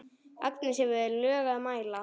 Agnes hefur lög að mæla.